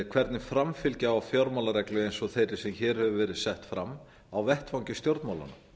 hvernig framfylgja á fjármálareglu eins og þeirri sem hér hefur verið sett fram á vettvangi stjórnmálanna